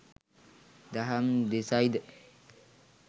දහම් දෙසයි ද